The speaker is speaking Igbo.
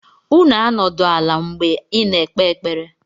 Unu anọdụ ala mgbe! na ekpe ekpere!